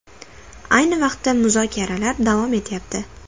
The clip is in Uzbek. Ayni vaqtda muzokaralar davom etyapti.